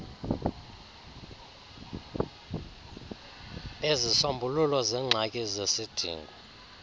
bezisombululo zengxaki zesidingo